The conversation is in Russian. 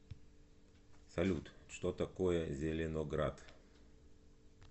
салют что такое зеленоград